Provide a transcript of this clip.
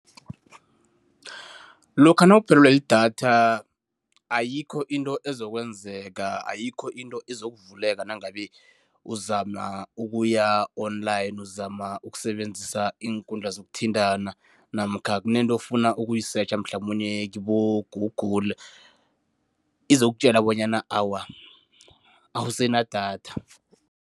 Lokha nawuphelelwe lidatha ayikho into ezokwenzeka, ayikho into ezokuvuleka nangabe uzama ukuya online, uzama ukusebenzisa khulu iinkundla zokuthintana namkha kunento ofuna ukuyisetjha mhlamunye kibo-Google, izokutjela bonyana awa awusenadatha.